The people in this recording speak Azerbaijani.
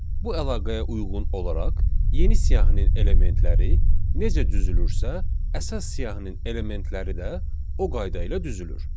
Bu əlaqəyə uyğun olaraq yeni siyahının elementləri necə düzülürsə, əsas siyahının elementləri də o qayda ilə düzülür.